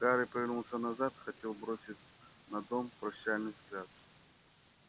гарри повернулся назад хотел бросить на дом прощальный взгляд